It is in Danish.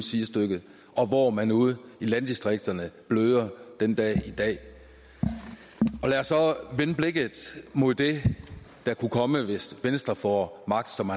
sidestykke hvor man ude i landdistrikterne bløder den dag i dag lad os så vende blikket mod det der kan komme hvis venstre får magt som